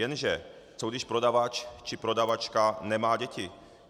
Jenže co když prodavač či prodavačka nemá děti?